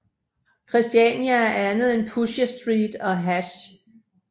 Christiania er andet end Pusher Street og hash